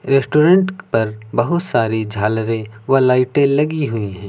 Restaurant पर बहुत सारी झालरें व लाइटें लगी हुई हैं।